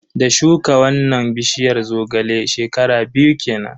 Da shuka wannan bishiyar Zogale, shekara biyu kenan.